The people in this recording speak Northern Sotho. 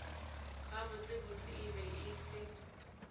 gabotsebotse e be e se